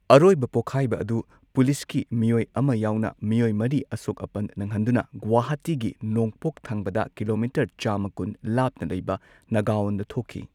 ꯑꯔꯣꯏꯕ ꯄꯣꯛꯈꯥꯢꯕ ꯑꯗꯨ ꯄꯨꯂꯤꯁꯀꯤ ꯃꯤꯑꯣꯏ ꯑꯃ ꯌꯥꯎꯅ ꯃꯤꯑꯣꯏ ꯃꯔꯤ ꯑꯁꯣꯛ ꯑꯄꯟ ꯅꯪꯍꯟꯗꯨꯅ ꯒꯨꯋꯥꯍꯥꯇꯤꯒꯤ ꯅꯣꯡꯄꯣꯛ ꯊꯪꯕꯗ ꯀꯤꯂꯣꯃꯤꯇꯔ ꯆꯥꯝꯃꯥ ꯀꯨꯟ ꯂꯥꯞꯅ ꯂꯩꯕ ꯅꯥꯒꯥꯎꯟꯗ ꯊꯣꯛꯈꯤ꯫